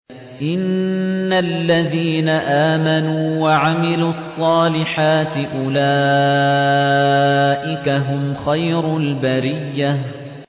إِنَّ الَّذِينَ آمَنُوا وَعَمِلُوا الصَّالِحَاتِ أُولَٰئِكَ هُمْ خَيْرُ الْبَرِيَّةِ